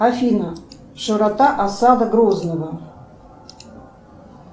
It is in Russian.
афина широта осады грозного